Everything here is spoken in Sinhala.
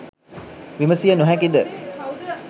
විමසිය නොහැකිද